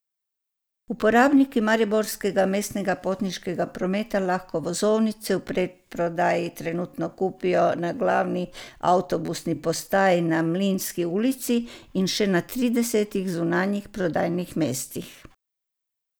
Uporabniki mariborskega mestnega potniškega prometa lahko vozovnice v predprodaji trenutno kupijo na glavni avtobusni postaji na Mlinski ulici in še na tridesetih zunanjih prodajnih mestih.